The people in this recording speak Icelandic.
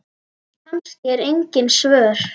Kannski eru engin svör.